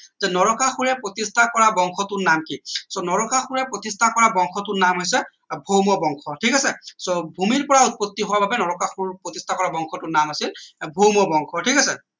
যে নৰকাসুৰে প্ৰতিষ্ঠা কৰা বংশটোৰ নাম কি so নৰকাসুৰে প্ৰতিষ্ঠা কৰা বংশটোৰ নাম হৈছে ভৌম বংশ ঠিক আছে so ভূমিৰ পৰা উৎপত্তি হোৱাৰ বাবে নৰকাসুৰ প্ৰতিষ্ঠা কৰা বংশটোৰ নাম আছিল ভৌম বংশ ঠিক আছে